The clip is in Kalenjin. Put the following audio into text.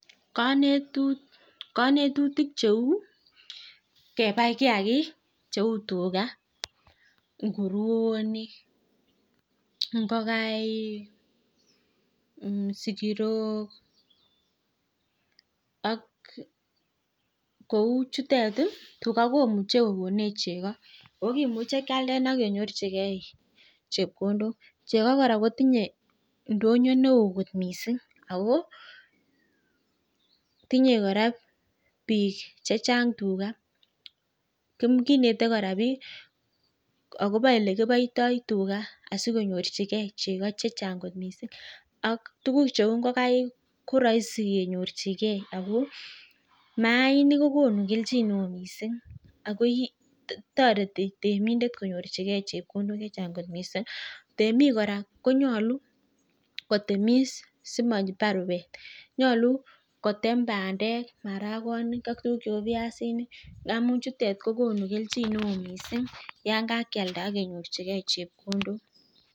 Konetutik cheu kebai kiagik cheu, tuga, nguroni ,ngokaik sigirok ak kou chutet, tuga komuchei kokonech cheko ako kimuche kialde ak kenyorchigei chepkondok. Cheko kora kotinyei ndonyo neo kot mising ako tinyei kora biik chechang tuga. Kinete kora biik akobo ole kiboitoi tuga asikonyorchigei cheko chechang kot mising. Ak tukuk cheu ngokaik ko raisi kenyorchigei ako maainik kokonu keljin neo kot mising. Ako toreti temindet konyorchigei chepkondok che chang kot mising. Temik kora konyolu kotemis simapar rupet. Nyolu kotem bandek, marakonik ak tukuk cheu viasinik ngamun chutet ko tukuk kokonu keljin neo kot mising yon kakealda ak kenyorchigei chepkondok.